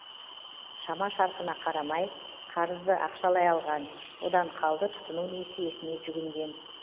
шама шарқына қарамай қарызды ақшалай алған одан қалды тұтыну несиесіне жүгінген